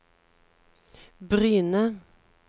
Bryne